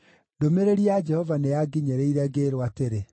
Ndũmĩrĩri ya Jehova nĩyanginyĩrire ngĩĩrwo atĩrĩ,